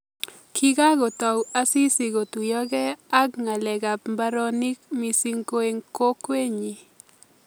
Kikakotoi Asisi kotuiyokei ak ngalekab mbaronik missing ko eng kokwenyi